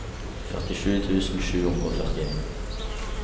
førtisju tusen sju hundre og førtien